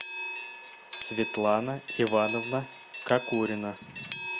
светлана ивановна кокорина